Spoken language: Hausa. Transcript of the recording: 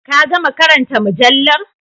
Ka gama karanta mujallar?